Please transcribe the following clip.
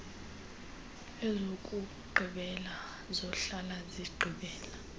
ezokugqibela zohlala zigqibela